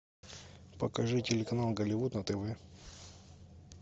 покажи телеканал голливуд на тв